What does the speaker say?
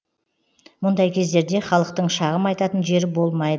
мұндай кездерде халықтың шағым айтатын жері болмай